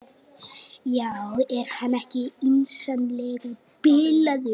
Já, er hann ekki yndislega bilaður.